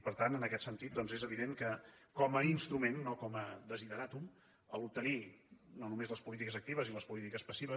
per tant en aquest sentit és evident que com a instrument no com a desideràtum obtenir no només les polítiques actives i les polítiques passives